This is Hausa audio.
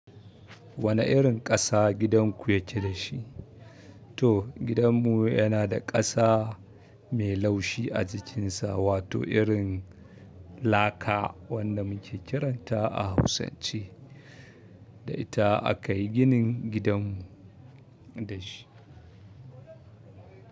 Wane irin ƙasa gidanku yake da shi? To gidanmu yana da ƙasa mai laushi a jikinsa, wato irin laka wanda muke kiranta a Hausance. Da ita a ka yi ginin gidanmu da shi.